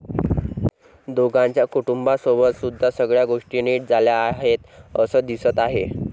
दोघांच्या कुटुंबासोबत सुद्धा सगळ्या गोष्टी नीट झाल्या आहेत असं दिसत आहे.